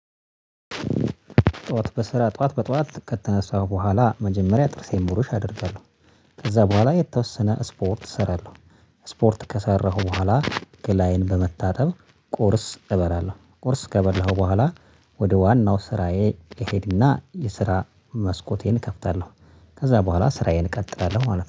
ጠዋት በስራ ጠዋት በጠዋት ከተነሳው በኋላ መጀመሪያ ጥርሴን ብሩሽ አደርጋለሁ። ከዛ በኋላ የተወሰነ ስፖርት እሰራለሁ። ስፖርት ከሰራሁ በኋላ ገላዬን በመታጠብ ቁርስ እበላለሁ። ቁርስ ከበላሁ በኋላ። ወደ ዋናው ስራዬ እሄድና የስራ መስኮቴን እከፍታለሁ። ከዛ በኋላ ስራዬን እቀጥላለሁ ማለት ነው